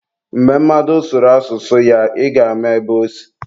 Mgbe mmadụ sụrụ asụsụ ya, ị ga-ama ebe osi.